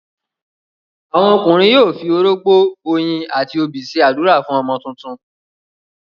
àwọn ọkùnrin yóò fi orógbó, oyin àti obì ṣe ádùrá fún ọmọ tuntun.